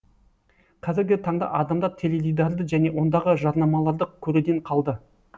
қазіргі таңда адамдар теледидарды және ондағы жарнамаларды көруден қалды